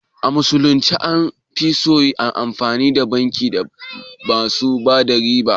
A musulunce an fi so ayi amfani da bankin da basu bada riba